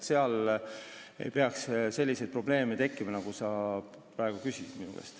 Seal ei tohiks selliseid probleeme tekkida, mille kohta sa praegu minu käest küsisid.